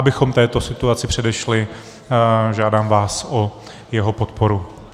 Abychom této situaci předešli, žádám vás o jeho podporu.